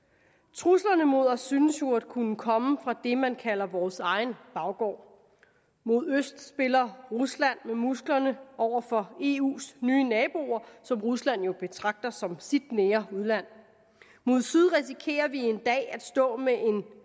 truslerne mod os synes jo at kunne komme fra det man kalder vores egen baggård mod øst spiller rusland med musklerne over for eus nye naboer som rusland jo betragter som sit nære udland mod syd risikerer vi en dag at stå med en